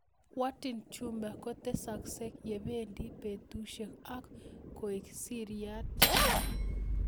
Warthin tumor kotesakse ye pendi petushek ak koek siriat